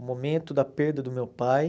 O momento da perda do meu pai.